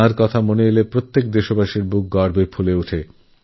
তাঁকে স্মরণ করে সমস্ত দেশবাসীর বুক গর্বে ভরেওঠে